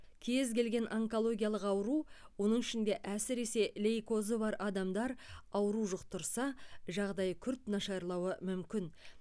кез келген онкологиялық ауру оның ішінде әсіресе лейкозы бар адамдар ауру жұқтырса жағдайы күрт нашарлауы мүмкін